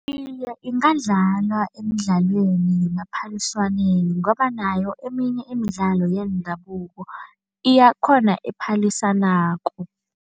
Iye, ingadlalwa emidlalweni yemaphaliswaneni ngoba nayo eminye imidlalo yendabuko iyakhona ephalisanako.